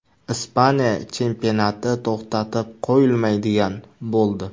Ispaniya chempionati to‘xtatib qo‘yilmaydigan bo‘ldi.